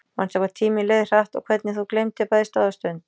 Manstu hvað tíminn leið hratt og hvernig þú gleymdir bæði stað og stund?